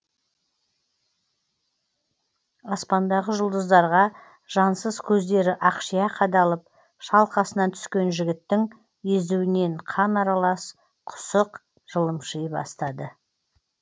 аспандағы жұлдыздарға жансыз көздері ақшиа қадалып шалқасынан түскен жігіттің езуінен қан аралас құсық жылымши бастады